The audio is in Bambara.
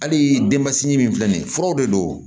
Hali denmasinin min filɛ nin ye furaw de don